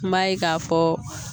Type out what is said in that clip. N b'a ye k'a fɔ